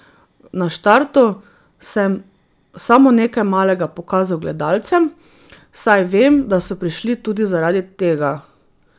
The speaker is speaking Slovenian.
Na štartu sem samo nekaj malega pokazal gledalcem, saj vem, da so prišli tudi zaradi tega.